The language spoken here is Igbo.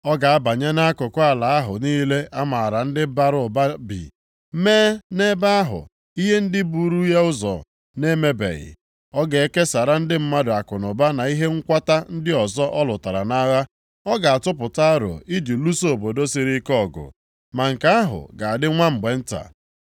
Ọ ga-abanye nʼakụkụ ala ahụ niile a maara ndị bara ụba bi, mee nʼebe ahụ ihe ndị buru ya ụzọ na-emebeghị. Ọ ga-ekesara ndị mmadụ akụnụba na ihe nkwata ndị ọzọ ọ lụtara nʼagha. Ọ ga-atụpụta aro iji lụso obodo siri ike ọgụ, ma nke ahụ ga-adị nwa mgbe nta.